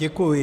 Děkuji.